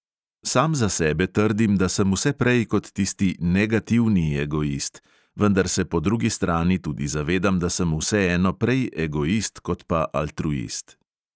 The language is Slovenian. Sam za sebe trdim, da sem vse prej kot tisti "negativni" egoist, vendar se po drugi strani tudi zavedam, da sem vseeno prej egoist kot pa altruist.